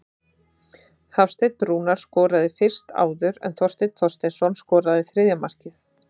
Hafsteinn Rúnar skoraði fyrst áður en Þorsteinn Þorsteinsson skoraði þriðja markið.